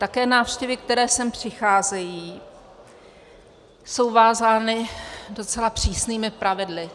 Také návštěvy, které sem přicházejí, jsou vázány docela přísnými pravidly.